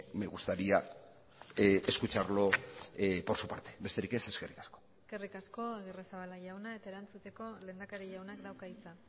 me gustaría escucharlo por su parte besterik ez eskerrik asko eskerrik asko agirrezabala jauna eta erantzuteko lehendakari jaunak dauka hitza